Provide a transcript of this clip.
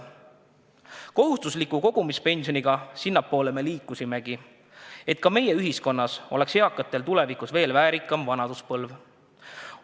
Kohustusliku kogumispensioniga me liikusimegi sinnapoole, et ka meie ühiskonnas oleks eakatel tulevikus väärikam vanaduspõlv.